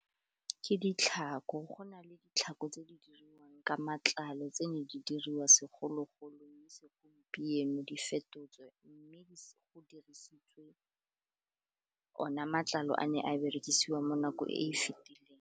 Ke ditlhako, go na le ditlhako tse di diriwang ke matlalo tse ne di diriwa segologolo, mme segompieno di fetotswe mme go dirisitswe ona matlalo a ne a berekisiwa mo nako e e fetileng.